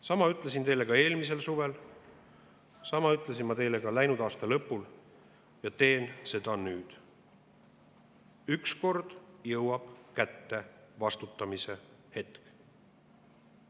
Sama ütlesin ma teile eelmisel suvel, sama ütlesin ma teile ka läinud aasta lõpul ja teen seda nüüd: ükskord jõuab kätte vastutamise hetk.